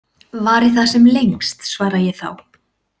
Vari það sem lengst, svara ég þá.